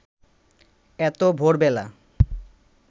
এত ভোরবেলা